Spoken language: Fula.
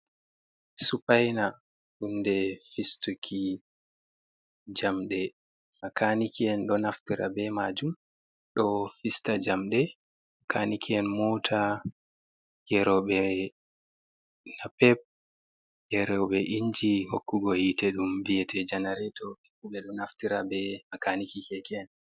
Dupayna hunde fistuki jamɗe, makaaniki'en ɗo naftira be maajum, ɗo fista jamɗe, makaɗniki'en moota, geerooɓe naape, geeroɓe inji hokkugo hiite, ɗum viyete janareeto, ɓe fuu ɓe ɗo naftira be makaaniki keeke’en.